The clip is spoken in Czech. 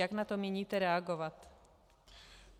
Jak na to míníte reagovat?